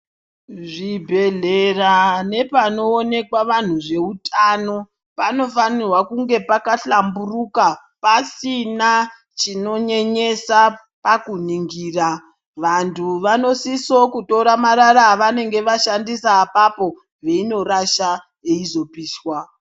Zvibhedhlera nepanoonekwa vantu zvehutano panofanirwa kunge Pakahlamburika pasina chinonyenyesa pakuningura vantu vanosisa kutora maraa vaannege vaishandisa ipapo veitora veizorasha.